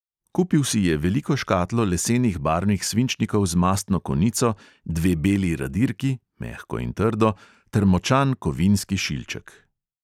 Kupil si je veliko škatlo lesenih barvnih svinčnikov z mastno konico, dve beli radirki – mehko in trdo – ter močan kovinski šilček.